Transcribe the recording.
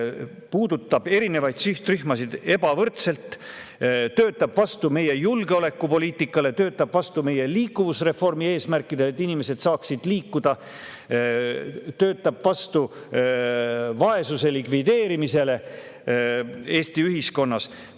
See puudutab erinevaid sihtrühmasid ebavõrdselt, töötab vastu meie julgeolekupoliitikale, töötab vastu meie liikuvusreformi eesmärkidele, et inimesed saaksid liikuda, töötab vastu vaesuse likvideerimisele Eesti ühiskonnas.